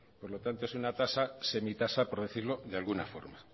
por lo tanto es una semitasa por decirlo de alguna forma